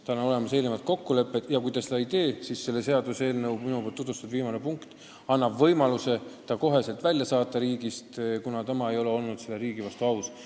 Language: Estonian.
Tal on olemas eelnev kokkulepe ja kui ta seda ei täida, siis selle seaduseelnõu viimane punkt annab võimaluse ta kohe riigist välja saata, kuna ta ei ole riigi vastu aus olnud.